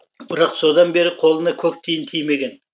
бірақ содан бері қолына көк тиын тимеген